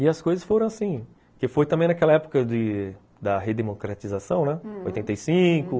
E as coisas foram assim, que foi também naquela época de da redemocratização, né? oitenta e cinco... Uhum.